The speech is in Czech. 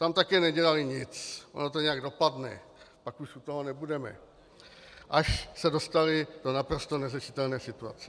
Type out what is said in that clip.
Tam také nedělali nic, ono to nějak dopadne, pak už u toho nebudeme, až se dostali do naprosto neřešitelné situace.